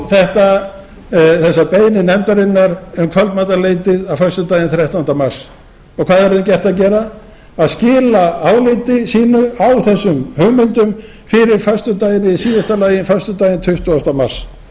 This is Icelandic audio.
fá þessa beiðni nefndarinnar um kvöldmatarleytið föstudaginn þrettánda mars og hvað er þeim gert að gera að skila áliti sínu á þessum hugmyndum í síðasta lagi fyrir föstudaginn tuttugu mars